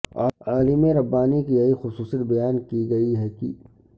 عالم ربانی کی یھی خصوصیت بیان کی گئی ھےکہ